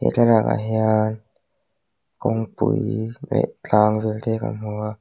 he thlalak ah hian kawngpui leh tlang vel te kan hmu a--